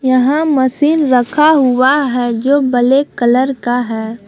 यहां मशीन रखा हुआ है जो ब्लैक कलर का है।